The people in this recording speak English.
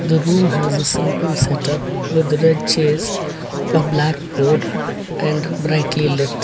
the room has a simple setup with red chairs and black board and likely left.